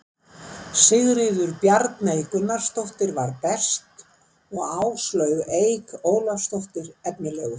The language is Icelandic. Sigríður Bjarney Gunnarsdóttir var best og Áslaug Eik Ólafsdóttir efnilegust.